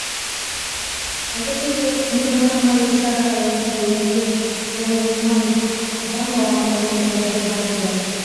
айта кетейік діни басқарма игі шара аясында өткен жылы мыңнан астам балға көмек қолын созған еді